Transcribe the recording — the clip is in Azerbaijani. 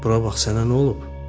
Bura bax, sənə nə olub?